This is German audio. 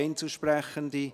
Einzelsprechende